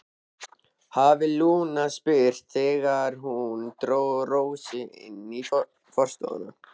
hafði Lúna spurt þegar hún dró Rósu inn í forstofuna.